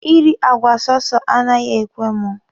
I ri àgwà sọsọ anaghị ekwe mụ.